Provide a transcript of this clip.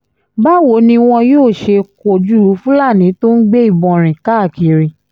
báwo ni wọn yóò ṣe kojú fúlàní tó ń gbé ìbọn rìn káàkiri